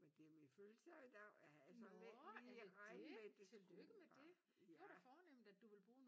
Men det er min fødselsdag i dag jeg havde sådan ikke lige regnet med det skulle ja